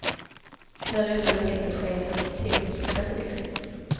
Därefter är det tänkt att ske en teknisk skatteväxling.